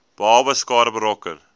babas skade berokken